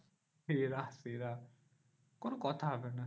সেরা সেরা কোনো কথা হবে না।